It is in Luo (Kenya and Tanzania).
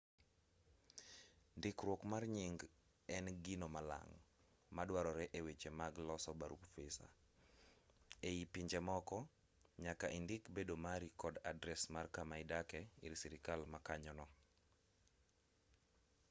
ndikruok mar nying en gino malang' maduarore e weche mag loso barup visa ei pinje moko nyaka indik bedo mari kod adres mar kama idake ir sirkal ma kanyono